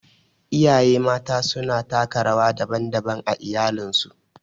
Iyaye Mata suna taka rawa daban-daban a iyalinsu.